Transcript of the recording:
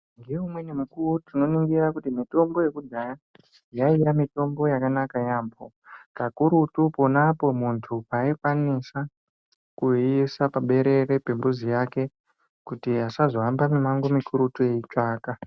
Ngeumweni mukuwo tinoningira kuti mitombo yekudhaya yaiya mutombo yakanaka yamho kakurutu ponapo paikwanisa kuisa paberere pembuzi yake kuti asazo hamba mumango mukurutu eitsvaka .